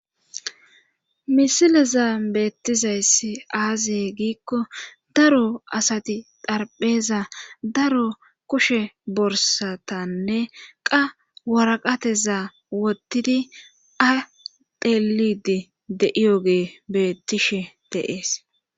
Misilezan beettizayssi aaze giikko daro asati xarpheza daro kushe borssatane qa waraqateza wottidi a xeelliiddi de7iyooge beettishe de7ees.